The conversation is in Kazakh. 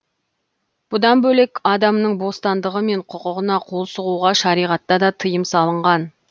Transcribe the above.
бұдан бөлек адамның бостандығы мен құқығына қол сұғуға шариғатта да тиым салынған